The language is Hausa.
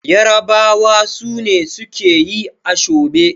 yarabawa sune suke yi ashobe